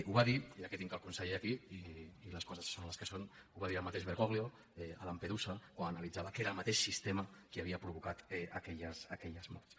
ho va dir ja que tinc el conseller aquí i les coses són les que són el mateix bergoglio a lampedusa que ho analitzava que era el mateix sistema qui havia provocat aquelles morts